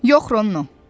Yox Rono.